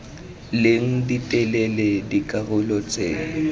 leng di telele dikarolo tse